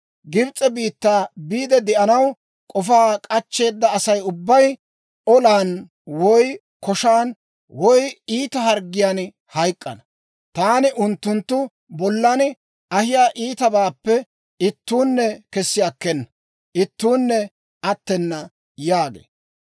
Gibs'e biittaa biide de'anaw k'ofaa k'achcheeda Asay ubbay olan, woy koshan woy iita harggiyaan hayk'k'ana. Taani unttunttu bollan ahiyaa iitabaappe ittuunne kessi akkena; ittuunne attena› yaagee.